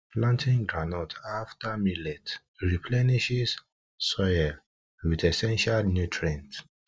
planting groundnut afta millet dey replenishes soil wit essential nutrients